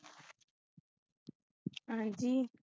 ਹਾਂ ਜੀ